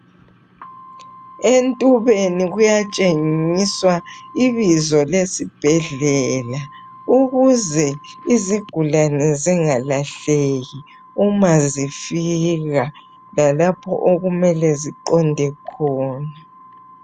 Entubeni kuyatshengiswa ibizo lesibhedlela ukuze izigulani zingalahleki uma zifika, lalapho okumele ziqonde khona.